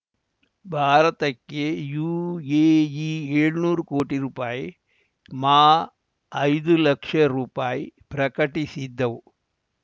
ಭಾರತಕ್ಕೆ ಯುಎಇ ಏಳ್ನೂರು ಕೋಟಿ ರುಪಾಯಿ ಮಾಐದು ಲಕ್ಷ ರುಪಾಯಿ ಪ್ರಕಟಿಸಿದ್ದವು